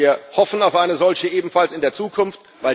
Wir hoffen auf eine solche ebenfalls in der Zukunft.